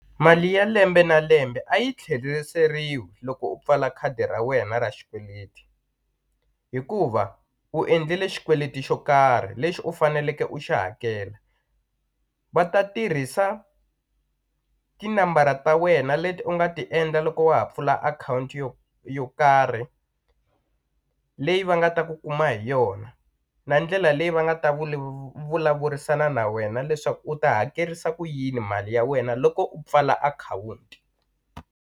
Mali ya lembe na lembe a yi tlheriseriwi loko u pfala khadi ra wena ra xikweleti hikuva u endlile xikweleti xo karhi lexi u faneleke u xi hakela va ta tirhisa tinambara ta wena leti u nga ti endla loko wa ha pfula akhawunti yo yo karhi leyi va nga ta ku kuma hi yona na ndlela leyi va nga ta vulavurisana na wena leswaku u ta hakerisa ku yini mali ya wena loko u pfula akhawunti.